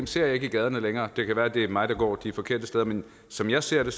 ser jeg ikke i gaderne længere det kan være det er mig der går de forkerte steder men som jeg ser det